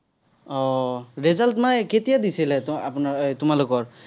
আহ result মানে কেতিয়া দিছিলে, আপোনাৰ এৰ তোমালোকৰ?